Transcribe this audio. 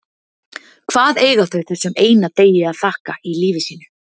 Hvað eiga þau þessum eina degi að þakka í lífi sínu?